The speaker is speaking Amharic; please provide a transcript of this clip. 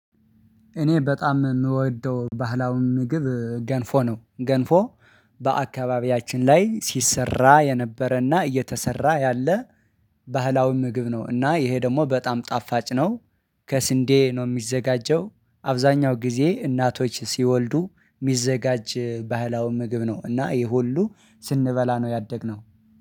እኔ በጣም እምወደው ባህላዊ ምግብ ገንፎ ነው ገንፎ በአካባቢያችን ላይ ሲሰራ የነበረና እየተሠራ ያለ። ባህላዊ ምግብ ነው እና ይሄ ደግሞ በጣም ጣፋጭ ነው። ከስንዴ ነው የሚዘጋጀው አብዛኛው ጊዜ እናቶች ሲወልዱ የሚዘጋጅ ባህላዊ ምግብ ነው። እና ይሄ ሁሉ ስንበላ ነው ያደግነው።